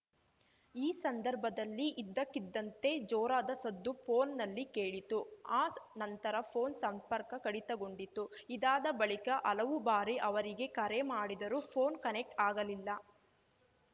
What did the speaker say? ಈ ಸಂದರ್ಭದಲ್ಲಿ ಇದ್ದಕ್ಕಿದ್ದಂತೆ ಜೋರಾದ ಸದ್ದು ಫೋನ್‌ನಲ್ಲಿ ಕೇಳಿತು ಆ ನಂತರ ಫೋನ್‌ ಸಂಪರ್ಕ ಕಡಿತಗೊಂಡಿತು ಇದಾದ ಬಳಿಕ ಹಲವು ಬಾರಿ ಅವರಿಗೆ ಕರೆ ಮಾಡಿದರೂ ಫೋನ್‌ ಕನೆಕ್ಟ್ ಆಗಲಿಲ್ಲ